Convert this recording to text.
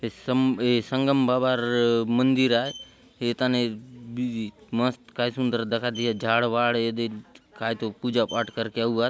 ये सम संगम बाबा र मंदिर आय ए थाने मस्त काय सुंदर दखा देएसी झाड़ वाड ये दे काय तो पूजा पाठ करके आउआत।